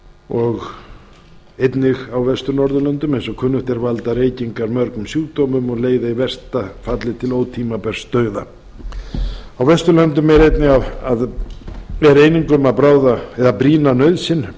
og einnig á vestur norðurlöndum eins og kunnugt er valda reykingar mörgum sjúkdómum og leiða í versta falli til ótímabærs dauða á vesturlöndum er eining um að brýna nauðsyn